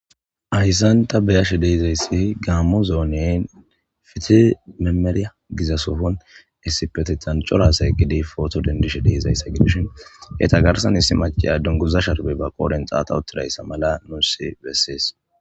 ayssanta beyashe deizayssi gaammo zo7onen fite memeri gizasofon essipetetancorhaasaye gidi footo dendishe deizayssa gidushin he ta garsan issi mace addunguza sharbey ba qooden xaata uttirayssa mala nuussi bessees